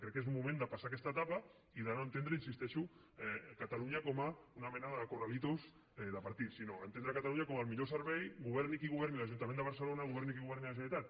crec que és un moment de passar aquesta etapa i de no entendre hi insisteixo catalunya com a una mena de corralitos de partits sinó entendre catalunya com el millor servei governi qui governi l’ajuntament de barcelona governi qui governi la generalitat